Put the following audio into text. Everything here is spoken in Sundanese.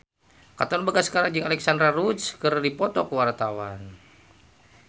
Katon Bagaskara jeung Alexandra Roach keur dipoto ku wartawan